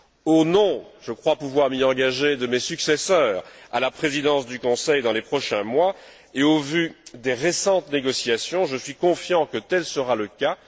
Au nom je crois pouvoir m'y engager de mes successeurs à la Présidence du Conseil dans les prochains mois et au vu des récentes négociations, je suis confiant que tel sera le cas.